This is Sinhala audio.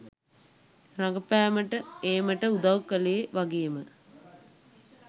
රඟපෑමට ඒමට උදව් කළේ වගේම